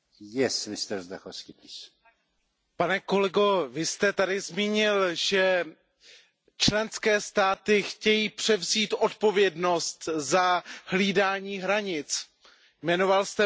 Pane kolego, vy jste tady zmínil, že členské státy chtějí převzít odpovědnost za hlídání hranic, jmenoval jste Maďarsko, jmenoval jste Itálii.